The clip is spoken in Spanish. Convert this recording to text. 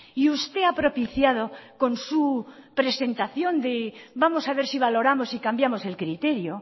y usted ha propiciado con su presentación de vamos a ver si valoramos y cambiamos el criterio